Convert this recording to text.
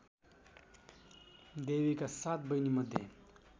देवीका सात बहिनीमध्ये